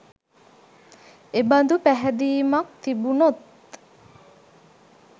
එබඳු පැහැදීමක් තිබුනොත්